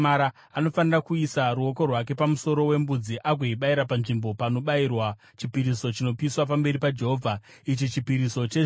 Anofanira kuisa ruoko rwake pamusoro wembudzi agoibayira panzvimbo panobayirwa chipiriso chinopiswa pamberi paJehovha. Ichi chipiriso chezvivi.